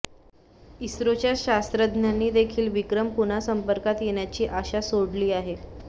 इस्रोच्या शास्त्रज्ञांनीदेखील विक्रम पुन्हा संपर्कात येण्याची आशा सोडली आहे